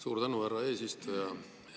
Suur tänu, härra eesistuja!